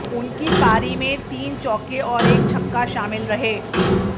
उनकी पारी में तीन चौके और एक छक्का शामिल रहे